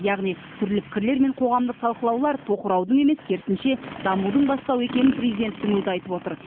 яғни түрлі пікірлер мен қоғамдық талқылаулар тоқыраудың емес керісінше дамудың бастауы екенін президенттің өзі айтып отыр